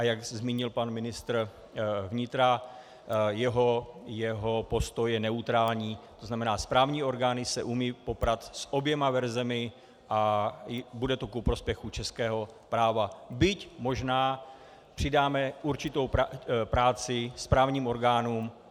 A jak zmínil pan ministr vnitra, jeho postoj je neutrální, to znamená, správní orgány se umějí poprat s oběma verzemi a bude to ku prospěchu českého práva, byť možná přidáme určitou práci správním orgánům.